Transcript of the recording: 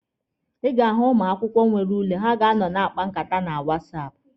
Ị ga-ahụ ụmụ akwụkwọ nwere ule, ha a na-akpa nkata na wasapụ.